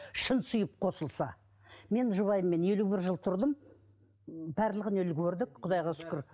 шын сүйіп қосылса мен жұбайыммен елу бір жыл тұрдым м барлығына үлгердік құдайға шүкір